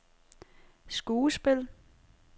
skuespil